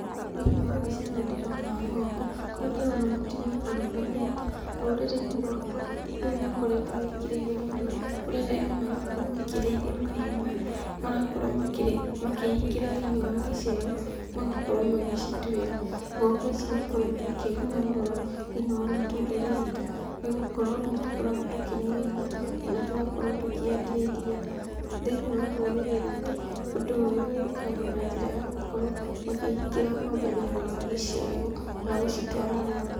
Thĩiniĩ wa mbica ĩno ndĩrona ng'ombe, kũrĩa ndĩrona mũtumia arũgamĩte. Rũrĩrĩ-inĩ rwakwa, ũndũ ũyũ nĩũkoretwo wĩkĩrĩirwo mũno, kũrĩa arĩmi marakorwo makĩrĩithia mahiũ maya, marakorwo makĩhingĩra thĩiniĩ wa gĩcegũ, magakorwo magĩcituĩra. Ng'ombe ici nĩikoretwo ikĩguna mũno thĩiniĩ wa mĩtũrĩre itũ, nĩgũkorwo nĩtũkoragwo tũkĩnyua iria, kana tũgakorwo tũkĩendia iria. Thĩiniĩ wa rũrĩrĩ rwitũ, ũndũ ũyũ wĩkagwo na njĩra ya gũkorwo makĩhingĩra ng'ombe thĩiniĩ wa gĩcegũ, kana gũcitwara rũru.